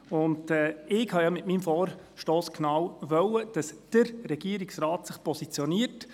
Ich habe mit meinem Vorstoss gewollt, dass «der Regierungsrat» sich positioniert.